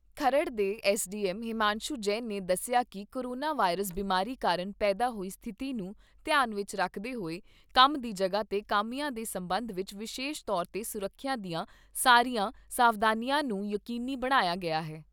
ਖਰੜ ਦੇ ਐਸਡੀਐੱਮ ਹਿਮਾਂਸ਼ੂ ਜੈਨ ਨੇ ਦੱਸਿਆ ਕਿ ਕੋਰੋਨਾ ਵਾਇਰਸ ਬਿਮਾਰੀ ਕਾਰਨ ਪੈਦਾ ਹੋਈ ਸਥਿਤੀ ਨੂੰ ਧਿਆਨ ਵਿਚ ਰੱਖਦੇ ਹੋਏ, ਕੰਮ ਦੀ ਜਗ੍ਹਾ ' ਤੇ ਕਾਮਿਆਂ ਦੇ ਸੰਬੰਧ ਵਿਚ ਵਿਸ਼ੇਸ਼ ਤੌਰ 'ਤੇ ਸੁਰੱਖਿਆ ਦੀਆਂ ਸਾਰੀਆਂ ਸਾਵਧਾਨੀਆਂ ਨੂੰ ਯਕੀਨੀ ਬਣਾਇਆ